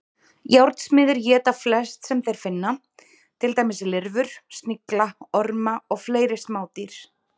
Járnsmiðir éta flest sem þeir finna, til dæmis lirfur, snigla, orma og fleiri smádýr.